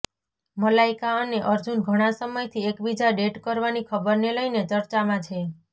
મલાઈકા અને અર્જુન ઘણા સમયથી એકબીજા ડેટ કરવાની ખબરને લઈને ચર્ચામાં છે